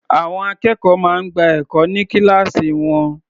Àwọn akẹ́kọ̀ọ́ máa ń gba ẹ̀kọ́ ní kíláàsì wọn.